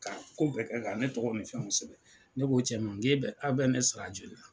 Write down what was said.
Ka ko bɛɛ kɛ kan ne tɔgɔ nin fɛnw sɛbɛ, ne k'o cɛ man e bɛ aw bɛ ne sara joli la.